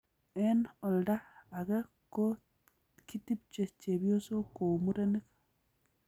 Eng olda age ko kitpche chebyosok kou murenik.